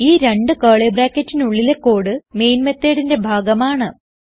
ഈ രണ്ട് കർലി ബ്രാക്കറ്റിനുള്ളിലെ കോഡ് മെയിൻ methodന്റെ ഭാഗമാണ്